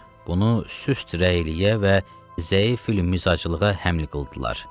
Bunu süst rəyliyə və zəif-ül-mizaclığa həml qıldılar.